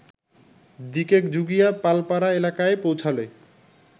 দিকেজুগিয়া পালপাড়া এলাকায় পৌঁছালে